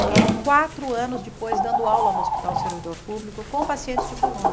Fiquei quatro anos depois dando aula no Hospital Servidor Público com pacientes de coluna.